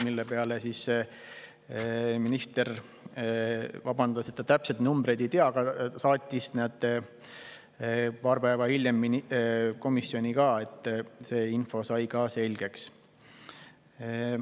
Selle peale minister vabandas, et ta täpseid numbreid ei tea, aga ta saatis need paar päeva hiljem komisjoni, nii et see info sai ka selgeks.